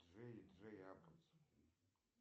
джей джей абрамс